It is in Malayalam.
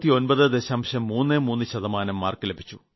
33 ശതമാനം ലഭിച്ചു